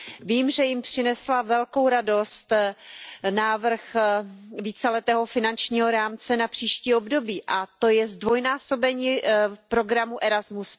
Vím, že jim přinesl velkou radost návrh víceletého finančního rámce na příští období, a to zdvojnásobení programu Erasmus.